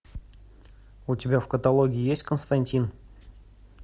у тебя в каталоге есть константин